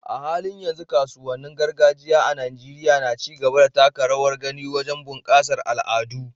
A halin yanzu, kasuwannin gargajiya a Najeriya na ci gaba da taka rawar gani wajen bunƙasa al'adu.